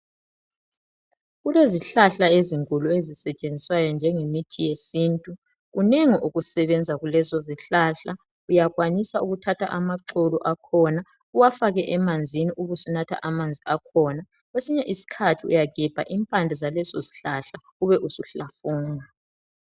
Kulezihlahla ezinkulu ezisetshenziswayo njengemithi yesintu kunengi okusebenza kulezo zihlahla, uyakwanisa ukuthatha amaxolo akhona uwafake emanzini ubusunatha amanzi akhona kwesinye isikhathi uyagebha impande zaleso sihlahla ube suhlafuna.